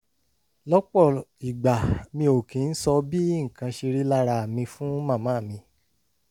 lọ́pọ̀ ìgbà mi ò kì í sọ bí nǹkan ṣe rí lára mi fún màmá mi